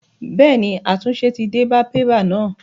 Bẹ́ẹ̀ ni, àtúnṣe ti dé bá pépà náà.